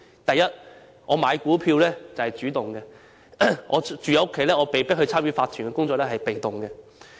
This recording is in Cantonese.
第一，買股票是主動的，但住戶被迫參與屋苑法團的工作則是被動的。